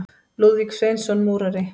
Lúðvík Sveinsson múrari.